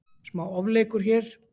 Smá ofleikur hér.